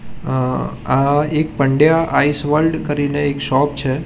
અ આ એક Pandya Ice World કરીને એક શોપ છે.